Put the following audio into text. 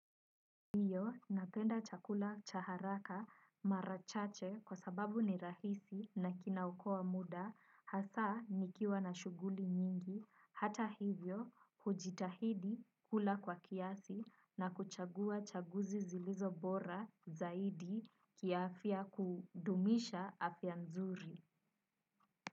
Ndiyo napenda chakula cha haraka mara chache kwa sababu ni rahisi na kina okoa muda hasa nikiwa na shughuli nyingi hata hivyo hujitahidi kula kwa kiasi na kuchagua chaguzi zilizo bora zaidi kiafya kudumisha afya nzuri.